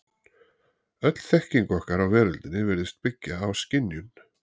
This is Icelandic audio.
Öll þekking okkar á veröldinni virðist byggja á skynjun.